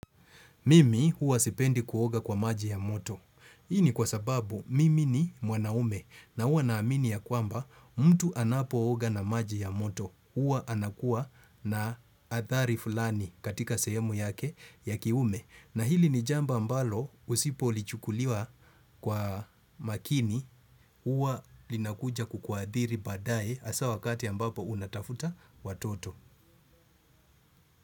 Mimi huwa sipendi kuoga kwa maji ya moto. Hii ni kwa sababu mimi ni mwanaume na huwa na amini ya kwamba mtu anapooga na maji ya moto. Uwa anakuwa na athari fulani katika sehemu yake ya kiume. Na hili ni jambo ambalo usipo lichukuliwa kwa makini huwa linakuja kukwadhiri baadaye asa wakati ambapo unatafuta watoto.